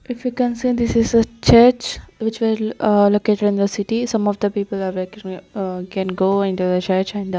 If you can see this is a church which was a located in the city some of the people are can go into the church and--